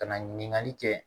Ka na ɲininkali kɛ